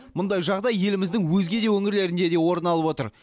мұндай жағдай еліміздің өзге де өңірлерінде орын алып отыр